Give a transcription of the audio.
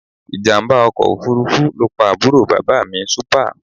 Ìjàmbá ọkọ̀ òfuurufú ló pa àbúrò bàbá mi Súpà